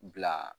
Bila